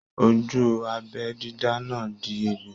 Ojú abẹ dídá náà di egbò.